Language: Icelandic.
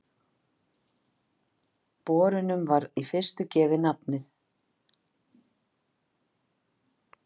Bornum var í fyrstu gefið nafnið